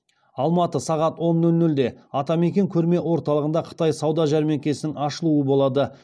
алматы сағат он нөл нөлде атакент көрме орталығында қытай сауда жәрмеңкесінің ашылуы болады